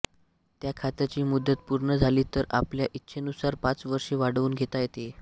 या खात्याची मुदत पूर्ण झाली तरी आपल्या इच्छेनुसार पाच वर्षे वाढवून घेता येते